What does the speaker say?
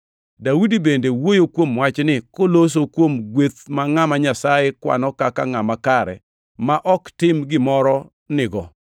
Daudi bende wuoyo kuom wachni koloso kuom gweth ma ngʼama Nyasaye kwano kaka ngʼama kare ma ok tim gimoro nigo.